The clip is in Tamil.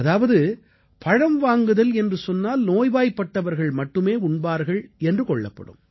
அதாவது பழம் வாங்குதல் என்று சொன்னால் நோய்வாய்ப்பட்டவர்கள் மட்டுமே உண்பார்கள் என்று கொள்ளப்படும்